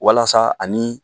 Walasa ani